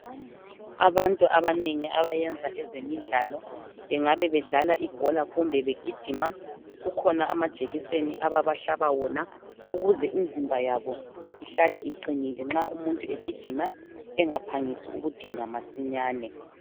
Abantu abanengi abayenza ezemidlalo bengabe bedlala ibhola kumbe begijima, kukhona amajekiseni ababahlaba wona ukuze imizimba yabo ihlale iqinile nxa umuntu egijima engaphangisi ukudinwa masinyane.